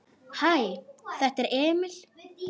Hæ, þetta er Emil.